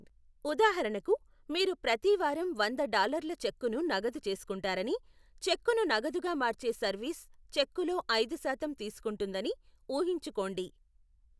ఉదాహరణకు, మీరు ప్రతి వారం వంద డాల్లర్ల చెక్కును నగదు చేసుకుంటారని, చెక్కును నగదుగా మార్చే సర్వీస్ చెక్కులో ఐదు శాతం తీసుకుంటుందని ఊహించుకోండి.